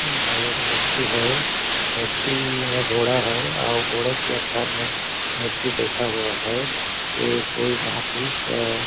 यहाँ एक मूर्ती है मूर्ती में घोड़ा है और घोड़ा के अंदर में मूर्ती बैठा हुआ है एक कोई महापुरुष अ --